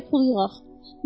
Gərək pul yığaq.